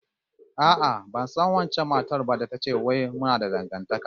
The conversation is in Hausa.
A'a, ban san wancan matar ba da ta ce wai muna da dangantaka